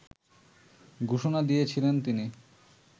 ঘোষণা দিয়েছিলেন তিনি